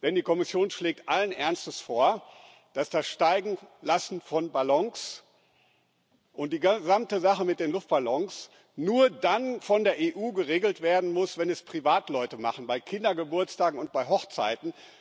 Denn die Kommission schlägt allen Ernstes vor, dass das Steigenlassen von Ballons und die gesamte Sache mit den Luftballons nur dann von der EU geregelt werden muss, wenn es Privatleute machen bei Kindergeburtstagen und bei Hochzeiten.